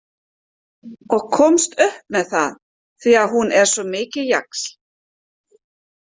Og komst upp með það því að hún er svo mikill jaxl.